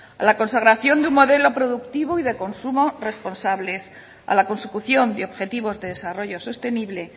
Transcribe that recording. a la consagración de un modelo productivo y de consumo responsables a la consecución de objetivos de desarrollo sostenible